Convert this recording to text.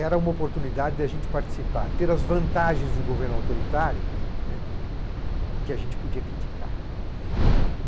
Era uma oportunidade de a gente participar, ter as vantagens do governo autoritário, né, que a gente podia criticar.